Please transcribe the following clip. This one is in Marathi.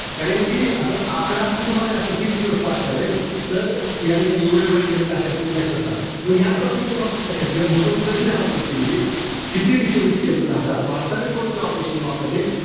कारण कि असं एकदा हा सुमारे असतो. Fix नसतो अशावेळेस. तर याठिकाणी एवढे बळी गेलेत, अशा पद्धतीने लक्षात ठेवा. म या topic च्या बाबतीत लक्षात घ्या. भूकंप कधी झाला तुर्कीमध्ये? कोटी richter scale चा झाला? भारतणारे कोणते operation वापरले?